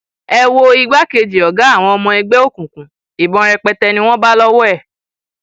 ẹ wo igbákejì ọgá àwọn ọmọ ẹgbẹ òkùnkùn ìbọn rẹpẹtẹ ni wọn bá lọwọ ẹ